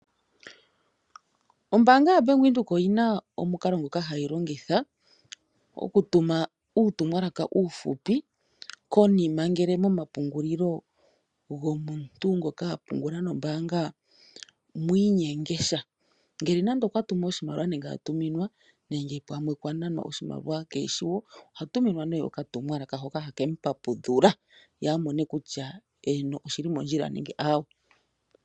Ombaanga yaBank Windhoek oyi na omukalo ngoka hayi longitha okutuma uutumwalaka uufupi konima ngele momapungulilo gomuntu ngoka a pungula nombaanga mwi inyenge sha. Ngele nande okwa tumu oshimaliwa, nenge a tuminwa nenge kwa nanwa oshimaliwa kee shi wo oha tuminwa nduno okatumwalaka hoka hake mu papudhula ye a mone kutya, eeno oshi li mondjila nenge aawe.